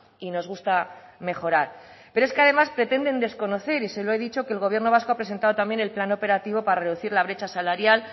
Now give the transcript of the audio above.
y nos gusta mejorar pero es que además pretender desconocer y se lo ha dicho que el gobierno vasco ha presentado también el plan operativo para reducir la brecha salarial